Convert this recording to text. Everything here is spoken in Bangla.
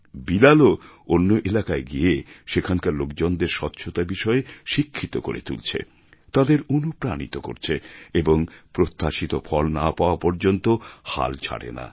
বিলালও অন্য এলাকায় গিয়ে সেখানকার লোকজনদের স্বচ্ছতা বিষয়ে শিক্ষিত করে তুলছে তাঁদের অনুপ্রাণিত করছে এবং প্রত্যাশিত ফল না পাওয়া পর্যন্ত হাল ছাড়ে না